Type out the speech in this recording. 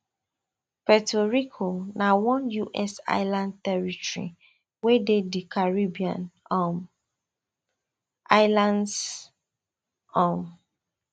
puerto rico na one us island territory wey dey di caribbean um islands um